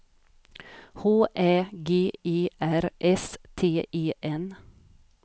H Ä G E R S T E N